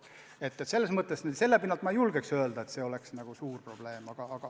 Selle pinnalt ma ei julge öelda, et see on suur probleem.